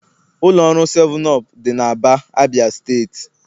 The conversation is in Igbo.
Ụlọ ọrụ 7up dị n'Aba, Abia steeti.